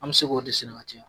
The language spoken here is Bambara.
An bɛ se k'o de sɛnɛ ka